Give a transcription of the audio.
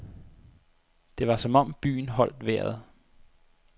Det var som om byen holdt vejret.